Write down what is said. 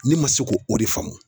Ne ma se k'o de faamu.